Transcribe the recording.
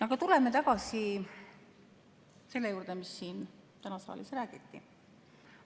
Aga tuleme tagasi selle juurde, mis täna siin saalis räägiti.